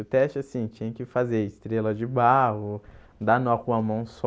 O teste, assim, tinha que fazer estrela de barro, dar nó com uma mão só,